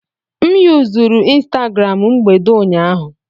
M yuzuru Instagram mgbede ụnyaahụ.